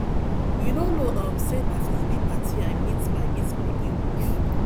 you no know um say na for obi party i meet my meet my new wife